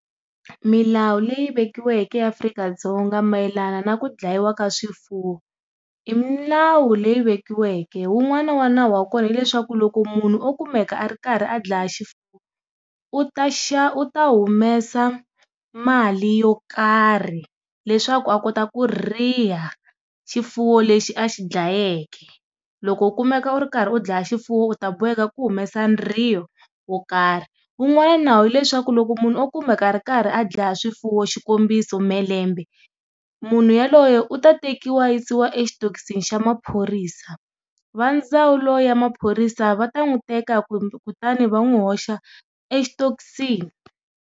Milawu leyi vekiweke eAfrika-Dzonga mayelana na ku dlayiwa ka swifuwo i milawu leyi vekiweke. Wun'wana wa nawu wa kona hileswaku loko munhu o kumeka a ri karhi a dlaya xifuwo u ta xa u ta humesa mali yo karhi leswaku a kota ku riha xifuwo lexi a xi dlayeke. Loko u kumeka u ri karhi u dlaya xifuwo u ta boheka ku humesa riho wo karhi wu n'wana nawu hileswaku loko munhu o kumeka a ri karhi a dlaya swifuwo xikombiso Mhelembe munhu yaloye u ta tekiwa yisiwa exitokisini xa maphorisa, va ndzawulo ya maphorisa va ta n'wi teka ku kutani va n'wi hoxa exitokisini.